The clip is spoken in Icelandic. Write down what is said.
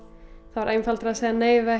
það var einfaldara að segja nei við